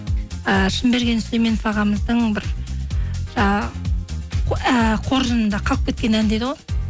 і шынберген сүйлеменов ағамыздың бір жаңағы ііі қоржынында қалып кеткен ән дейді ғой